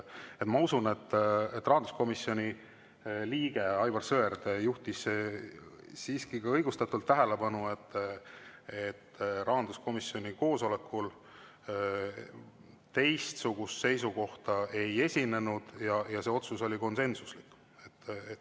Ma usun, et rahanduskomisjoni liige Aivar Sõerd juhtis siiski õigustatult tähelepanu, et rahanduskomisjoni koosolekul teistsugust seisukohta ei esitatud, see otsus oli konsensuslik.